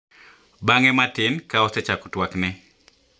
Bang`e matin ka osechako tuakne.